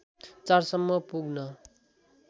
४ सम्म पुग्न